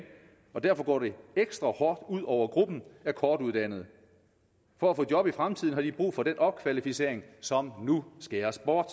og derfor går det ekstra hårdt ud over gruppen af kortuddannede for at få job i fremtiden har de brug for den opkvalificering som nu skæres bort